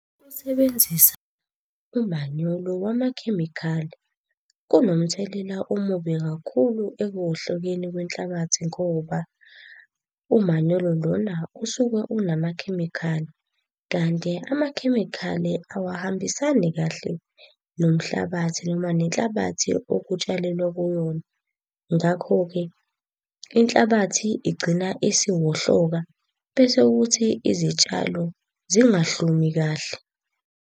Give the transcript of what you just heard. Ukusebenzisa umanyolo wamakhemikhali kunomthelela omubi kakhulu ekuwohlokeni kwenhlabathi ngoba umanyolo lona usuke unamakhemikhali. Kanti amakhemikhali awahambisani kahle nomhlabathi noma nenhlabathi okutshalelwa kuyona. Ngakho-ke inhlabathi igcina isiwohloka, bese kuthi izitshalo zingahlumi kahle.